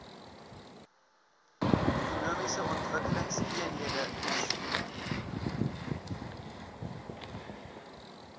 ekonomiese ontwikkelingseenhede eoes